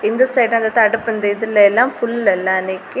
இந்த சைடு அந்த தடுப்பு இந்த இதுலயெல்லா புல் எல்லா நிக்கி.